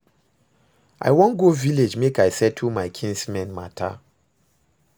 I wan go village make I settle my kinsmen matter